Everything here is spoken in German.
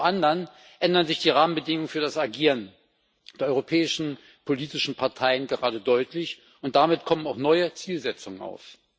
Zum anderen ändern sich die Rahmenbedingungen für das Agieren der europäischen politischen Parteien gerade deutlich, und damit kommen auch neue Zielsetzungen auf.